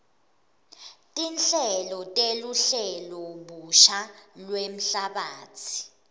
tinhlelo teluhlelobusha lwemhlabatsi